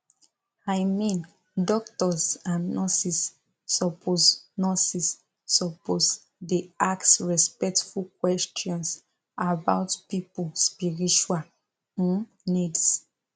i mean doctors and nurses suppose nurses suppose dey ask respectful questions about people spiritual um needs